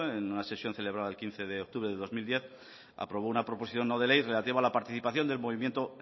en una sesión celebrada el quince de octubre de dos mil diez aprobó una proposición no de ley relativa a la participación del movimiento